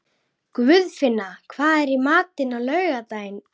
Guðfinna, hvað er í matinn á laugardaginn?